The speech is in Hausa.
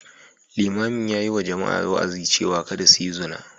Limamin ya yi wa jama’a wa’azi cewa kada su yi zina.